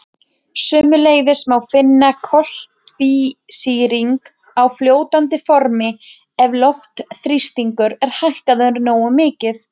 Sömuleiðis má finna koltvísýring á fljótandi formi ef loftþrýstingur er hækkaður nógu mikið.